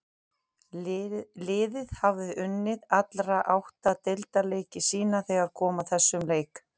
Liðið hafði unnið alla átta deildarleiki sína þegar kom að þessum leik.